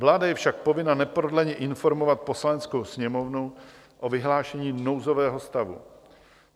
Vláda je však povinna neprodleně informovat Poslaneckou sněmovnu o vyhlášení nouzového stavu.